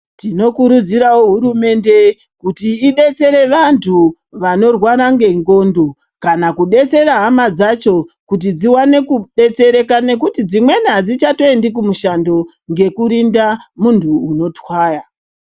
Tinokurudzira hurumende idetsere antu anorwara nengonxo kana kudetsera hama dzacho kuti tiwane kudetsereka nekuti dzimweni adzivhatiendi kumishando nekuti ngekurinda munhu unotwaya.